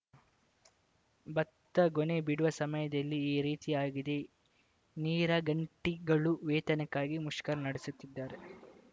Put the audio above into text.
ಭತ್ತ ಗೊನೆ ಬಿಡುವ ಸಮಯದಲ್ಲಿ ಈ ರೀತಿಯಾಗಿದೆ ನೀರಗಂಟಿಗಳು ವೇತನಕ್ಕಾಗಿ ಮುಷ್ಕರ ನಡೆಸುತ್ತಿದ್ದಾರೆ